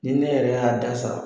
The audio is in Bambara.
Ni ne yɛrɛ y'a dasa